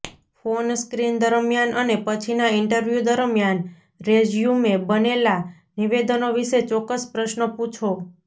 phone screen દરમિયાન અને પછીના ઇન્ટરવ્યૂ દરમિયાન રેઝ્યૂમે બનેલા નિવેદનો વિશે ચોક્કસ પ્રશ્નો પૂછો